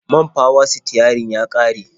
Man fawa-sitiyarin ya ƙare.